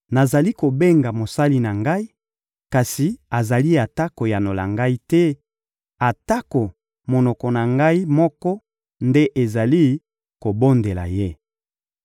Nazali kobenga mosali na ngai, kasi azali ata koyanola ngai te, atako monoko na ngai moko nde ezali kobondela ye.